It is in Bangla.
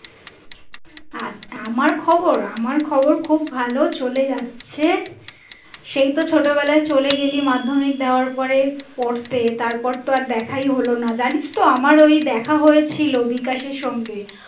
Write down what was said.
আচ্ছা আমার খবর আমার খবর খুব ভালো চলে যাচ্ছে সেই তো ছোট বেলায় চলে গেলি মাধ্যমিক দেওয়ার পরে পড়তে তারপর তো আর দেখাই হলোনা জানিস তো আমার ওই দেখা হয়েছিল বিকাশের সঙ্গে